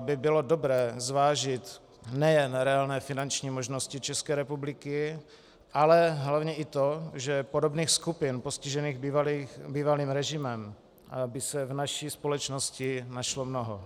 by bylo dobré zvážit nejen reálné finanční možnosti České republiky, ale hlavně i to, že podobných skupin postižených bývalým režimem by se v naší společnosti našlo mnoho.